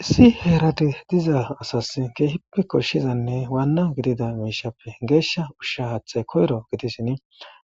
issi heerati diza asas keehippe koshshizanne waanna gidida miishappe geeshsha ushsha haaththay koyro gidissin